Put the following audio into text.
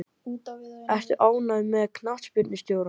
Ertu ánægð með knattspyrnustjórann?